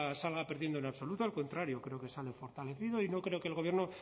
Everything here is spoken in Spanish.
salga perdiendo en absoluto al contrario creo que sale fortalecido y no creo que el gobierno